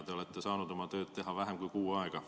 Te olete saanud oma tööd teha vähem kui kuu aega.